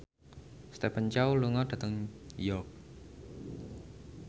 Stephen Chow lunga dhateng York